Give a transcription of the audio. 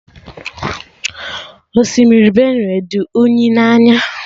Osimiri Benue dị unyi na anya